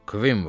Kvinbo.